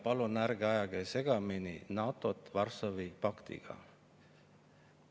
Palun ärge ajage segamini NATO-t Varssavi paktiga.